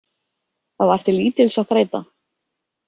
Það var til lítils að þræta.